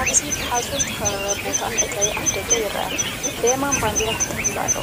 ኣብዚ ብሓጹር ዝተኸበበ ቦታ መእተዊ ኣፍደገ ይርአ። ብየማን ባንዴራ ተተኪሉ ኣሎ፡